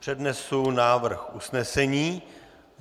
Přednesu návrh usnesení.